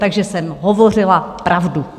Takže jsem hovořila pravdu.